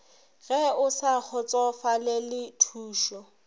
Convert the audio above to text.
ge o sa kgotsofalele thušo